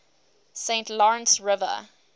saint lawrence river